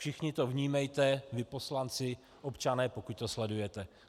Všichni to vnímejte, vy poslanci, občané, pokud to sledujete.